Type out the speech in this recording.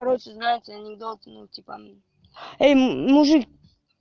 короче знаете анекдот ну типа эй мужик